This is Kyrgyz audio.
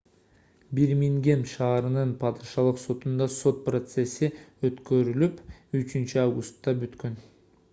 бирмингем шаарынын падышалык сотунда сот процесси өткөрүлүп 3-августта бүткөн